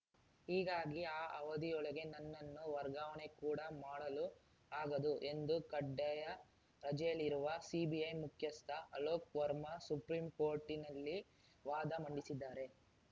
ಹೀಗಾಗಿ ಆ ಅವಧಿಯೊಳಗೆ ನನ್ನನ್ನು ವರ್ಗಾವಣೆ ಕೂಡ ಮಾಡಲು ಆಗದು ಎಂದು ಕಡ್ಡಾಯ ರಜೆಯಲ್ಲಿರುವ ಸಿಬಿಐ ಮುಖ್ಯಸ್ಥ ಅಲೋಕ್‌ ವರ್ಮಾ ಸುಪ್ರೀಂಕೋರ್ಟಿನಲ್ಲಿ ವಾದ ಮಂಡಿಸಿದ್ದಾರೆ